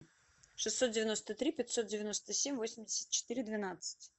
шестьсот девяносто три пятьсот девяносто семь восемьдесят четыре двенадцать